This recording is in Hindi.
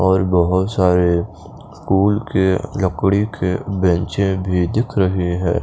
और बहुत सारे स्कूल के लकड़ी के बैंचें भी दिख रहे हैं।